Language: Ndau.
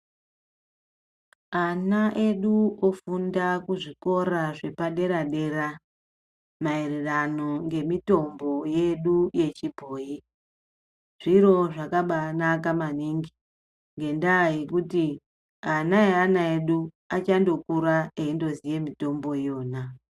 Ana edu ofunda kuzvikora zvepaderadera maererano ngemitombo yedu yechibhoyi. Zviro zvakabaanaka maningi, ngendaa yekuti ana eana edu achandokura eindoziya mitombo yona.